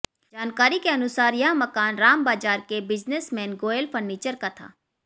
जानकारी के अनुसार यह मकान राम बाजार के बिजनेसमेन गोयल फर्नीचर का था